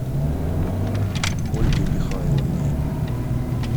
ольгой михайловной